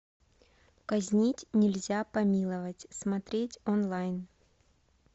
казнить нельзя помиловать смотреть онлайн